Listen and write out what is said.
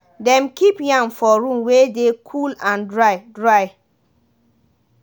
dem keep yam for room wey deh cool and dry. dry.